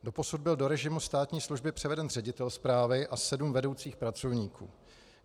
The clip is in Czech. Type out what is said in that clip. Doposud byl do režimu státní služby převeden ředitel správy a sedm vedoucích pracovníků.